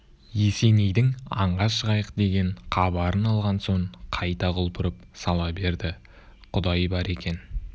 есенейдің аңға шығайық деген хабарын алған соң қайта құлпырып сала берді құдай бар екен